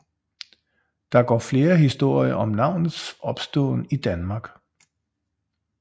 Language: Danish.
Der går flere historier om navnets opståen i Danmark